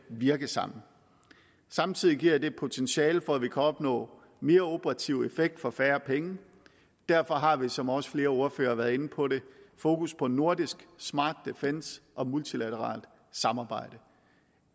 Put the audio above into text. virke sammen samtidig giver det et potentiale for at vi kan opnå mere operativ effekt for færre penge derfor har vi som også flere ordførere har været inde på fokus på nordisk smart defence og multilateralt samarbejde